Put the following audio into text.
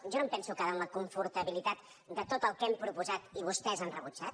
jo no em penso quedar en la confortabilitat de tot el que hem proposat i vostès han rebutjat